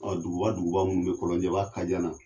Ɔ duguba duguba minnu be kɔlɔnjɛba kajana